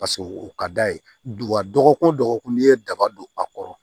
Paseke o ka d'a ye wa dɔgɔkun wo dɔgɔkun n'i ye daba don a kɔrɔ